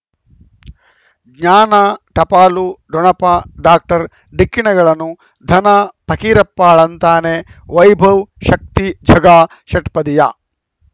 ಜ್ಞಾನ ಟಪಾಲು ಠೊಣಪ ಡಾಕ್ಟರ್ ಢಿಕ್ಕಿ ಣಗಳನು ಧನ ಫಕೀರಪ್ಪ ಳಂತಾನೆ ವೈಭವ್ ಶಕ್ತಿ ಝಗಾ ಷಟ್ಪದಿಯ